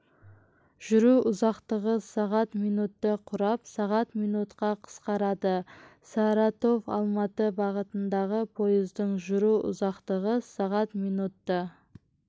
жүру ұзақтығы сағат минутты құрап сағат минутқа қысқарады саратовалматы бағытындағы пойыздың жүру ұзақтығы сағат минутты